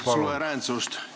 ... nende suveräänsust.